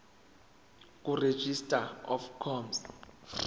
kuregistrar of gmos